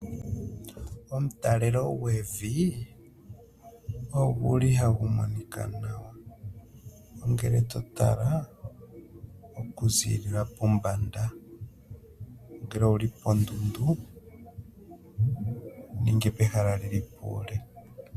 omtalelo gwevi oguli hagu monika nawa ngele to tala oku ziilila pombada, ngele owuli pondudu nenge pehala lili puule.